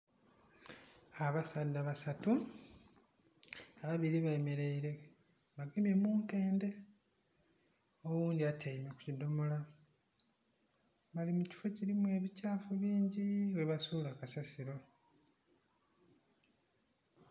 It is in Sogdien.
Abasaadha basatu ababiri bameraire bagemye munkende oghundhi atyaime kukidhomolo bali mukifo kirimu ebikyafu bingi.. mwabasula kasasiro.